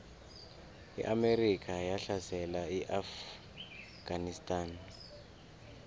iamerika yahlasela iafganistan